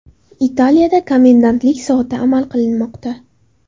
Italiyada komendantlik soati amal qilmoqda.